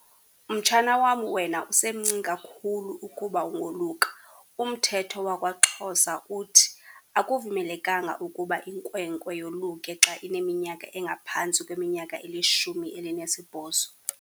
Mtshana wam, wena umsencinci kakhulu ukuba ungoluka. Umthetho wakwaXhosa uthi akuvumelekanga ukuba inkwenkwe yoluke xa ineminyaka engaphantsi kweminyaka elishumi elinesibhozo.